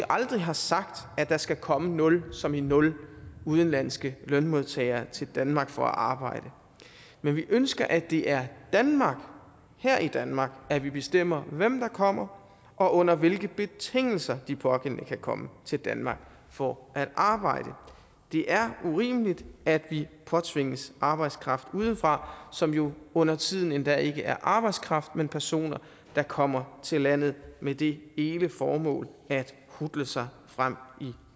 aldrig har sagt at der skal komme nul som i nul udenlandske lønmodtagere til danmark for at arbejde men vi ønsker at det er danmark og her i danmark at vi bestemmer hvem der kommer og under hvilke betingelser de pågældende kan komme til danmark for at arbejde det er urimeligt at vi påtvinges arbejdskraft udefra som jo undertiden endda ikke er arbejdskraft men personer der kommer til landet med det ene formål at hutle sig frem i